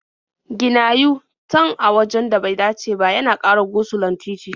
Gina yu-tan a wajen da bai dace ba yana ƙara go-sulon titi.